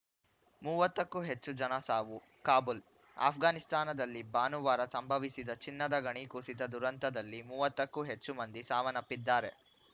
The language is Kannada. ಮೂವತ್ತಕ್ಕೂ ಹೆಚ್ಚು ಜನ ಸಾವು ಕಾಬೂಲ್‌ ಆಷ್ಘಾನಿಸ್ತಾನದಲ್ಲಿ ಭಾನುವಾರ ಸಂಭವಿಸಿದ ಚಿನ್ನದ ಗಣಿ ಕುಸಿತ ದುರಂತದಲ್ಲಿ ಮೂವತ್ತು ಕ್ಕೂ ಹೆಚ್ಚು ಮಂದಿ ಸಾವನ್ನಪ್ಪಿದ್ದಾರೆ